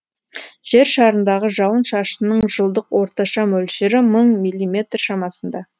жер шарындағы жауын шашынның жылдық орташа мөлшері мың миллиметр шамасында